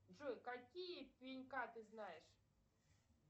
джой какие пенька ты знаешь